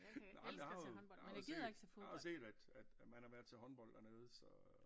Nej men jeg har jo jeg har jo set jeg har jo set at at at man har været til håndbold dernede så